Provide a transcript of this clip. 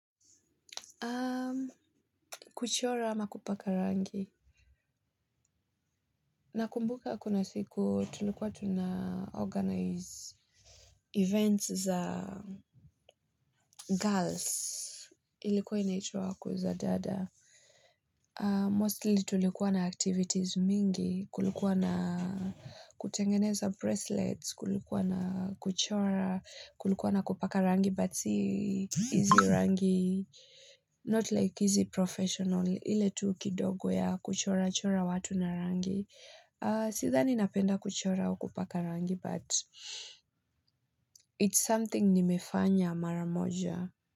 Kuchora ama kupaka rangi. Nakumbuka kuna siku tulikuwa tuna organize events za girls. Ilikuwa inaitwa kuzadada. Mostly tulikuwa na activities mingi. Kulikuwa na kutengeneza bracelets. Kulikuwa na kuchora. Kulikuwa na kupaka rangi but sii izi rangi. Not like izi professional. Ile tu kidogo ya kuchora chora watu na rangi. Sidhani napenda kuchora au kupaka rangi but it's something nimefanya mara moja.